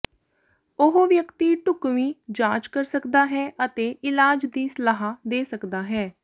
ਉਹ ਵਿਅਕਤੀ ਢੁਕਵੀਂ ਜਾਂਚ ਕਰ ਸਕਦਾ ਹੈ ਅਤੇ ਇਲਾਜ ਦੀ ਸਲਾਹ ਦੇ ਸਕਦਾ ਹੈ